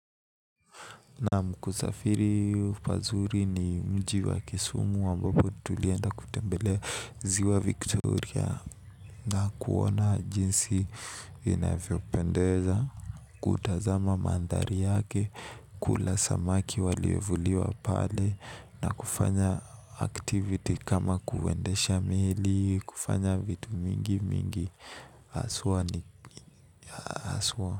Naam kusafiri pazuri ni mji wa kisumu ambapo tulienda kutembelea ziwa victoria. Na kuona jinsi inavyopendeza kutazama mandhari yake, kula samaki waliyo vuliwa pale na kufanya activity kama kuendesha mili kufanya vitu mingi mingi aswa ni aswa.